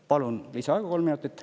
Palun lisaaega kolm minutit.